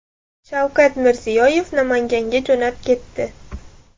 Shavkat Mirziyoyev Namanganga jo‘nab ketdi.